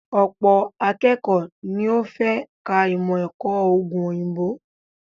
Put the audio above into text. Ọ̀pọ̀ akékọ̀ọ́ ni ó fẹ́ ka ìmọ̀-ẹ̀kọ́ òògùn òyìnbó.